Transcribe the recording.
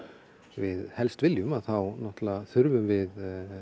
við helst viljum þá þurfum við